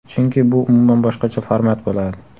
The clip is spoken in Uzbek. Chunki bu umuman boshqacha format bo‘ladi.